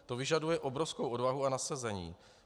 To vyžaduje obrovskou odvahu a nasazení.